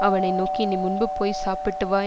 அவனை நோக்கி நீ முன்பு போய் சாப்பிட்டுவா